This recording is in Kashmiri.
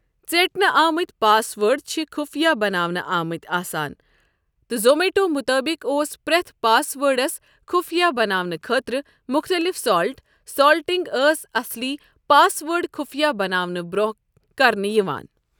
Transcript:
ژیٹنہٕ آمٕتۍ پاس وٲرڈ چھِ خُفیہ بناونہٕ آمٕتۍ آسان ، تہٕ زومیٚٹو مُطٲبِق اوس پرٛٮ۪تھ پاس وٲرڈس خُفیہ بناونہٕ خٲطرٕ مُختٔلِف 'سالٹ'، سالٹِنٛگ ٲس اصلی پاس وٲرڈ خُفیہ بناونہٕ برٛونٛہہ کرنہٕ یِوان ۔